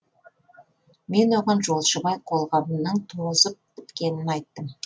мен оған жолшыбай қолғабымның тозып біткенін айттым